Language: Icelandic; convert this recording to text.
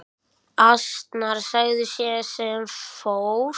Asnar sagði sá sem fór.